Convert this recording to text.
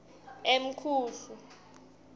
emkhuhlu